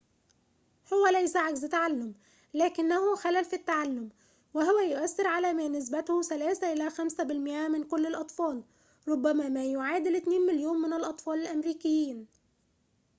هو ليس عجز تعلم لكنه خلل في التعلم وهو يؤثر على ما نسبته 3 إلى 5 بالمائة من كل الأطفال ربما ما يعادل 2 مليون من الأطفال الأمريكيين